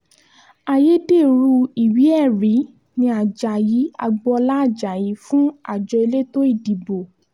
ayédèrú ìwé-ẹ̀rí ni ajayi agboola ajayi fún àjọ elétò ìdìbò